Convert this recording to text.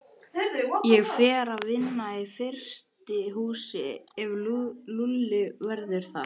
Ég fer að vinna í frystihúsi ef Lúlli verður þar.